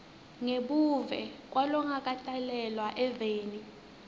ngebuve kwalongakatalelwa eveni